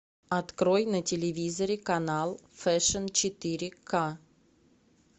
открой на телевизоре канал фэшн четыре ка